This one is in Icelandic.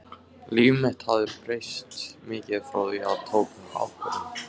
Líf mitt hafði breyst mikið frá því að ég tók þá ákvörðun.